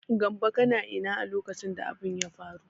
Gambo kana ina a lokacin da abin ya faru?